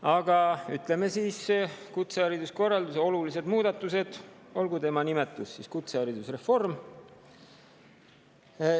Aga ütleme siis, et need on kutsehariduskorralduse olulised muudatused ja olgu see nimetus siis kutseharidusreform.